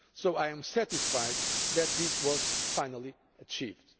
I am satisfied that this was finally achieved.